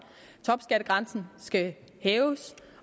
topskattegrænsen skal hæves